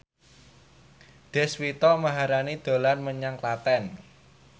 Deswita Maharani dolan menyang Klaten